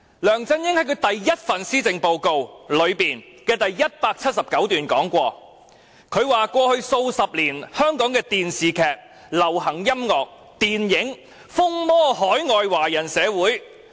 梁振英在他的第一份施政報告第179段曾經指出："過去數十年，香港的電視劇、流行音樂、電影......風靡海外華人社會。